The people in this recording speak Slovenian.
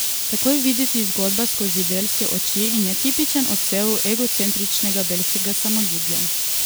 Tako je videti zgodba skozi belske oči in je tipičen odsev egocentričnega belskega samoljubja.